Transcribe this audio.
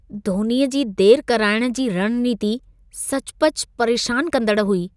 धोनीअ जी देरि कराइण जी रणनीति सचुपचु परेशान कंदड़ हुई।